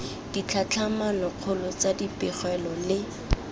ditlhatlhamano kgolo tsa dipegelo le